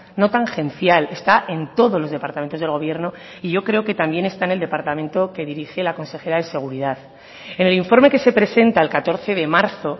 no tangencial está en todos los departamentos del gobierno y yo creo que también está en el departamento que dirige la consejera de seguridad en el informe que se presenta el catorce de marzo